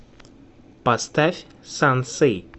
поставь сансэй